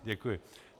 Děkuji.